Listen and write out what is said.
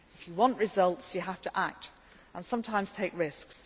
If you want results, you have to act and sometimes take risks.